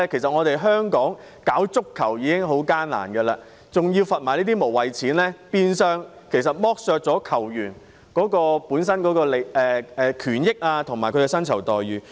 在香港推廣足球已經很艱難，還要被罰這些無謂錢，變相剝削球員本身的權益和薪酬待遇。